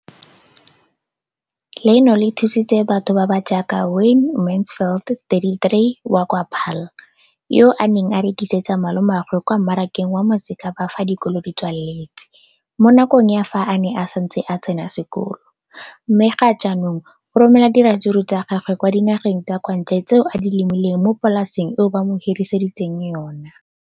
Leno le thusitse batho ba ba jaaka Wayne Mansfield, 33, wa kwa Paarl, yo a neng a rekisetsa malomagwe kwa Marakeng wa Motsekapa fa dikolo di tswaletse, mo nakong ya fa a ne a santse a tsena sekolo, mme ga jaanong o romela diratsuru tsa gagwe kwa dinageng tsa kwa ntle tseo a di lemileng mo polaseng eo ba mo hiriseditseng yona.